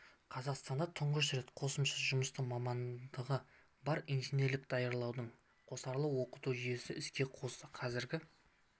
қазақстанда тұңғыш рет қосымша жұмысшы мамандығы бар инженерлерді даярлаудың қосарлы оқыту жүйесін іске қосты қазіргі